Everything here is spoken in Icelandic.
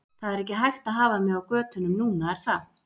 Það er ekki hægt að hafa mig á götunum núna er það?